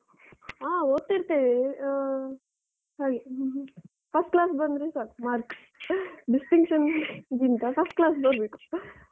ಆ ಓದ್ತಿರ್ತ್ತೇವೆ, ಆ ಹಾಗೆ ter First class ಬಂದ್ರೆ ಸಾಕು mark distinction ಗಿಂತ first class ಬರ್ಬೇಕು.